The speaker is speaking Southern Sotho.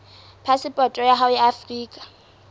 phasepoto ya hao ya afrika